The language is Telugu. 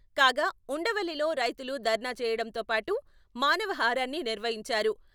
కాగా ఉండవల్లిలో రైతులు దర్నా చేయడంతో పాటు మానవ హారాన్ని నిర్వహించారు.